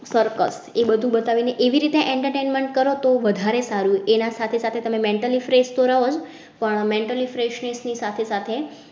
Circus એ બધું બતાવીને એવી રીતે entertainment કરો તો વધારે સારું. એના સાથે સાથે તમે mentally fresh તો રહૉજ પણ mentally freshness ની સાથે સાથે